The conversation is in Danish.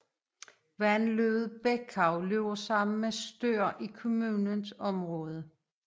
Vandløbet Bekau løber sammen med Stör i kommunens område